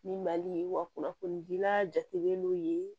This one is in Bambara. Ni mali wa kunnafoni dila jatigɛlen don yen